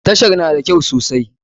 Tashar na da kyau sosai.